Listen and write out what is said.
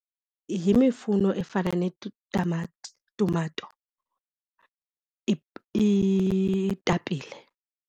yimifuno efana netamati, tumato, iitapile.